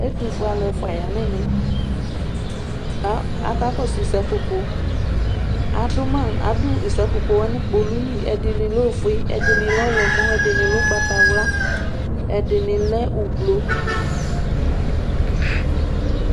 Ɛtʋfue alʋ ɛfʋa yanʋ ɛmɛ, kʋ akakɔsʋ sapopo, adʋ sapopowa nʋ kpolʋli Ɛdi lɛ ofue, ɛdini lɛ ɔwlɔmɔ, ɛdini lɛ ʋgbatawla, ɛdini lɛ ʋblʋ